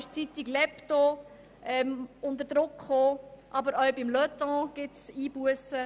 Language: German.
Dort geriet die Zeitung «L‘Hebdo» unter Druck, aber auch bei der Zeitung «Le Temps» gibt es Einbussen.